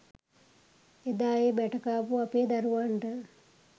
එදා ඒ බැට කාපු අපේ දරුවන්ට.